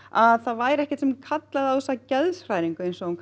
að það væri ekkert sem kallaði á þessa geðshræringu eins og hún